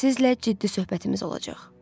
Sizlə ciddi söhbətimiz olacaq.